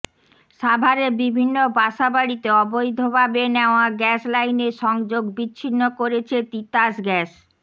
সাভারে বিভিন্ন বাসা বাড়িতে অবৈধভাবে নেওয়া গ্যাস লাইনের সংযোগ বিছিন্ন করেছে তিতাস গ্যাস